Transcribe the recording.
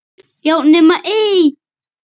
Já, nema ein!